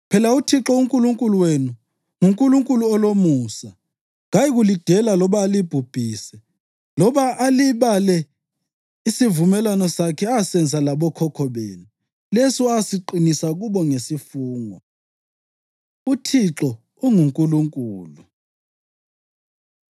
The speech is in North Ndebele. Phela uThixo uNkulunkulu wenu nguNkulunkulu olomusa; kayikulidela loba alibhubhise loba alibale isivumelwano sakhe asenza labokhokho benu, leso asiqinisa kubo ngesifungo.” UThixo UnguNkulunkulu